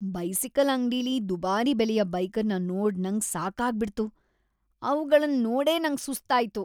Bicycle ಅಂಗ್ಡಿಲಿ ದುಬಾರಿ ಬೆಲೆಯ ಬೈಕನ್ ನೋಡ್ ನಂಗ್ ಸಾಕಾಗ್ ಬಿಡ್ತು. ಅವಗಳನ್ ನೋಡೇ ನಂಗ್ ಸುಸ್ತ್ ಆಯ್ತು.